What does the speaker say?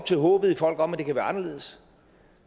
til håbet i folk om at det kan være anderledes